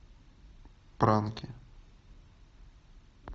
пранки